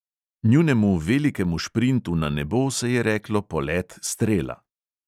Njunemu velikemu šprintu na nebo se je reklo polet strela.